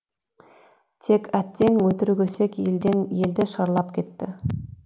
тек әттең өтірік өсек елден елді шарлап кетті